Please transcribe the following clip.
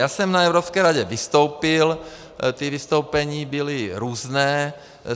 Já jsem na Evropské radě vystoupil, ta vystoupení byla různá.